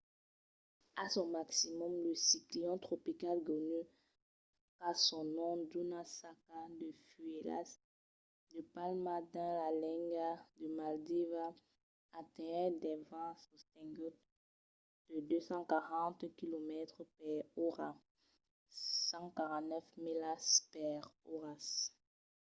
a son maximum lo ciclion tropical gonu qu'a son nom d'una saca de fuèlhas de palma dins la lenga de maldivas atenhèt de vents sostenguts de 240 quilomètres per ora 149 milas per ora